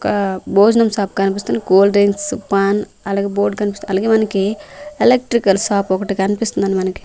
ఒక భోజనం షాప్ కనిపిస్తుంది కూల్ డ్రింక్స్ పాన్ అలాగే బోర్డ్ కనిపిస్తుంది అలాగే మనకి ఎలక్ట్రికల్ షాప్ ఒకటి కనిపిస్తుంది మనకి.